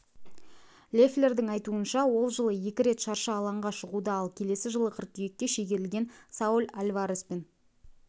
леффлердің айтуынша ол жылы екі рет шаршы алаңға шығуды ал келесі жылғы қыркүйекке шегерілген сауль альвареспен